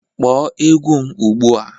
Kpọọ egwu m ugbu a!